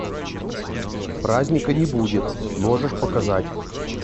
праздника не будет можешь показать